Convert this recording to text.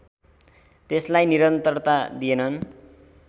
त्यसलाई निरन्तरता दिएनन्